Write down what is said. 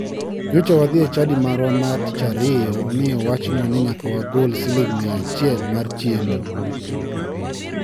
Nyocha wadhi e chadi marwa ma tich ariyo mi owachnwa ni nyaka wagol siling mia achiel mar chiemo.